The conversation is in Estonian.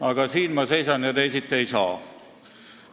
Aga siin ma seisan ja teisiti ei saa.